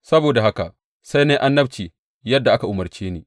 Saboda haka sai na yi annabci yadda aka umarce ni.